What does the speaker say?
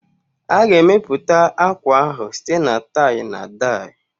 A ga-emepụta akwa ahụ site na tie-na-die